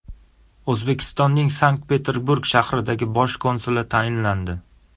O‘zbekistonning Sankt-Peterburg shahridagi bosh konsuli tayinlandi.